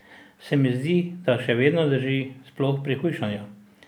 Se mi zdi, da še vedno drži, sploh pri hujšanju.